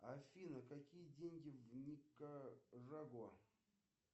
афина какие деньги в никарагуа